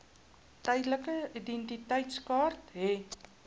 tydelike identiteitsertifikaat hê